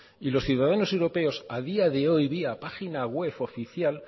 y los ciudadanos europeos a día de hoy vía página web oficial